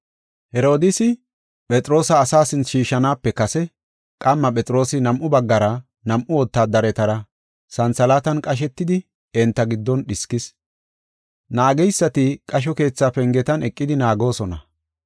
Herodiisi Phexroosa asaa sinthe shiishanaape kase qamma Phexroosi nam7u baggara nam7u wotaadaretara santhalaatan qashetidi enta giddon dhiskis. Naageysati qasho keethaa pengetan eqidi naagoosona.